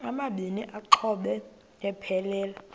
amabini exhobe aphelela